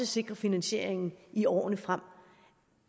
sikre finansieringen i årene frem